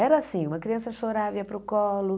Era assim, uma criança chorava, ia para o colo.